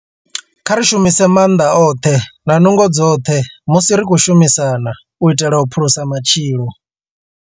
Kha ri shumise maanḓa oṱhe na nungo dzoṱhe musi ri tshi khou shumisana u itela u phulusa matshilo.